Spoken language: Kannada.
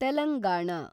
ತೆಲಂಗಾಣ